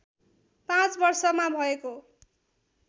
पाँच वर्षमा भएको